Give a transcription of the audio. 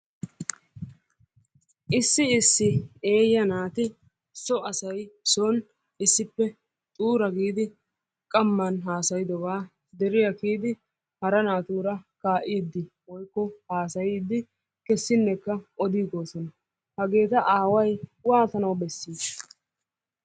Issi issi eeya naati so asay sooni issippe xuura giidi qamman haasaydobba deriyaa kiyiddi hara naatura kaa'id woyikko haasayidi kesinekka odigossona. Hageetta aaway waattana besishsha?